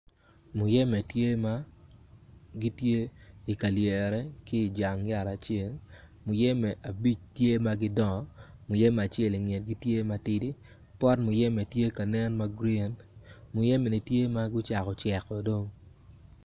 Muyeme tye ma gitye i ka liere ki janga yat acel muyeme abic tye magidongo muyeme acel ingetgi tye matidi pot muyeme tye ka nen magreen muyeme ni tye magucako ceko dong,